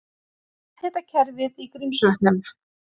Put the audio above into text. Jarðhitakerfið í Grímsvötnum.